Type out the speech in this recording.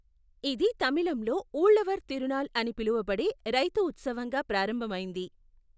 ఇది తమిళంలో ఊళ్లవర్ తిరునాల్ అని పిలువబడే రైతు ఉత్సవంగా ప్రారంభమైంది.